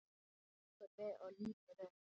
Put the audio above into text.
Hrekkur við og lítur upp.